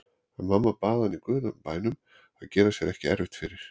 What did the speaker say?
En mamma bað hann í guðanna bænum að gera sér ekki erfitt fyrir.